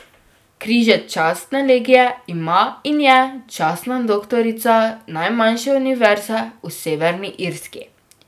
Križec častne legije ima in je častna doktorica najmanjše univerze v Severni Irski.